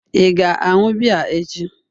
Ị ga-aṅụ biya echi?